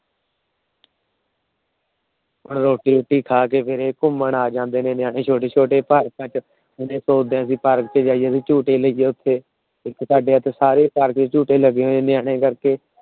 ਰੋਟੀ ਰੂਟੀ ਖਾ ਕੇ ਫੇਰ ਇਹ ਘੁੰਮਣ ਆ ਜਾਂਦੇ ਨੇ ਨਿਆਣੇ ਛੋਟੇ ਛੋਟੇ ਪਾਰਕਾਂ ਚ। ਓਦਾਂ ਵੀ ਪਾਰਕਾਂ ਚ ਜਾਇਏ ਤੇ ਝੂਟੇ ਲਈਏ ਉੱਥੇ। ਸਾਡੇ ਇੱਥੇ ਸਾਰੇ ਪਾਰਕਾਂ ਚ ਝੂਲੇ ਲੱਗੇ ਹੋਏ ਨੇ ਨਿਆਣੇ ਕਰਕੇ